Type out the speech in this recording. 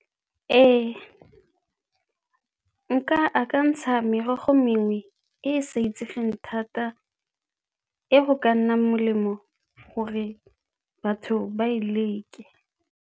Ee, nka akantsha merogo mengwe e e sa itsegeng thata e go ka nna melemo gore batho ba e leke.